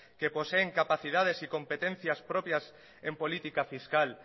que poseen capacidades y competencias propias en política fiscal